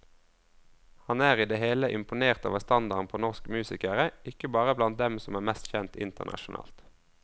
Han er i det hele imponert over standarden på norsk musikere, ikke bare blant dem som er mest kjent internasjonalt.